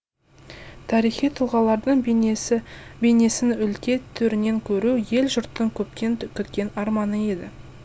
тарихи тұлғалардың бейнесін өлке төрінен көру ел жұрттың көптен күткен арманы еді